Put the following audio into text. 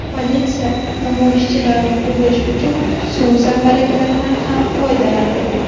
Politsiya namoyishchilarni quvish uchun suv zambaraklaridan ham foydalandi.